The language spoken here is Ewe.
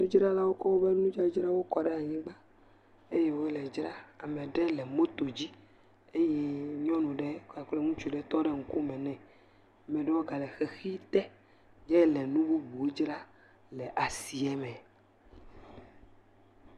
Nuɖzralawo kɔ woƒe nudzadzra kɔ ɖe anyigba eye wole edzram eye ame aɖe le moto dzi eye ŋutsu ɖe kple ŋutsu ɖe tɔ ɖe ŋkume ne. Ame aɖewo ga le xexi te hele nu bubuwo dzram le asiame.